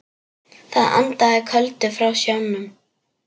Það andaði köldu frá sjónum.